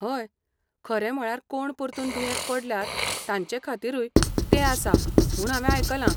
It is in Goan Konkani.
हय, खरें म्हळ्यार कोण परतून दुयेंत पडल्यात तांचेखातीरूय तें आसा म्हूण हांवे आयकलां.